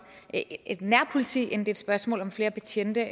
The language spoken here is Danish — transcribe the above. et nærpoliti end det er et spørgsmål om flere betjente